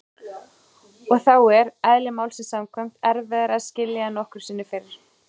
Og þá er- eðli málsins samkvæmt- erfiðara að skilja en nokkru sinni fyrr.